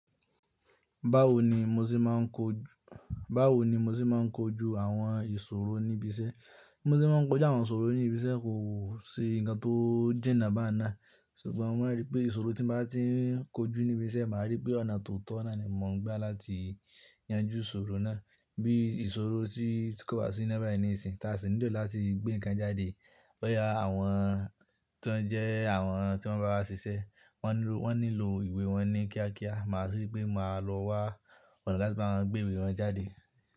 Báwo ni mo ṣe máa ń kojú, báwo ni mo ṣe máa ń kojú àwọn ìṣòro níbi iṣẹ́? BI mo ṣe máa ń kojú àwọn ìṣòro níbi iṣẹ́ kò ṣe ǹkan tó jiná bán ná. Ṣùgbọ́n mo maa n rí pé ìṣòro tí mo bá tí ń kojú níbi iṣẹ́, màá rí pé ọ̀nà tó tọ́ náà ni mò ń gbá láti yanjú ìṣòro náà. Bii ìṣòro tí kò bá sí ina bayii nisiyin ta sì nílò láti gbé ǹkan jáde. Boyá àwọn to je awọ́n to n bawa ṣiṣẹ́, wọ́n nílò ìwé wọn ní kíákíá, màá rí pé màá lọ wá ọ̀nà láti bawon gbé ìwé wọn jáde.